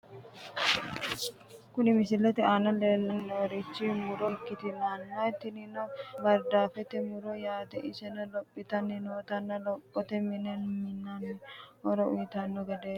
Kuni misilete aana leellanni noorichi muro ikkitanna tinino bardaafete murooti yaate, iseno lophitanni nootanna lophituro mine mi'nate horo uyiitanno gedeeti.